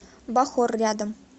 бахор рядом